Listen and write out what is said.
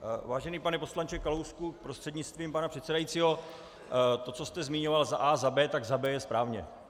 Vážený pane poslanče Kalousku prostřednictvím pana předsedajícího, to, co jste zmiňoval za a) a b), tak za b) je správně.